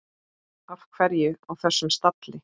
Af hverju á þessum stalli?